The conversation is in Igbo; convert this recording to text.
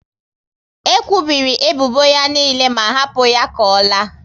E kwubiri ebubo ya niile ma hapu ya ka ọ laa